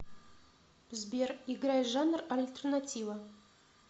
сбер играй жанр альтернатива